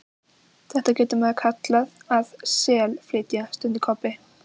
Þetta getur maður kallað að SELflytja, stundi Kobbi.